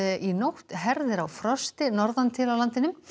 í nótt herðir á frosti norðantil á landinu